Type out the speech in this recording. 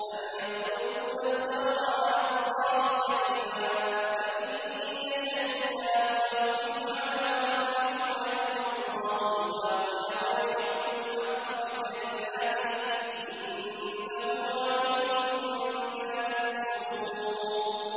أَمْ يَقُولُونَ افْتَرَىٰ عَلَى اللَّهِ كَذِبًا ۖ فَإِن يَشَإِ اللَّهُ يَخْتِمْ عَلَىٰ قَلْبِكَ ۗ وَيَمْحُ اللَّهُ الْبَاطِلَ وَيُحِقُّ الْحَقَّ بِكَلِمَاتِهِ ۚ إِنَّهُ عَلِيمٌ بِذَاتِ الصُّدُورِ